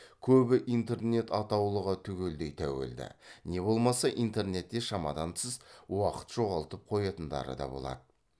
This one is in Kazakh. көбі интернет атаулыға түгелдей тәуелді не болмаса интернетте шамадан тыс уақыт жоғалтып қоятындары да болады